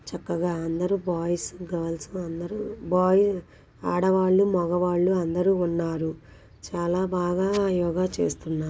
చక్కగా అందరూ boys girls అందరూ ఆడవాళ్లు మగవాళ్ళు అందరూ ఉన్నారు. చాలా బాగా యోగ చేస్తున్నారు.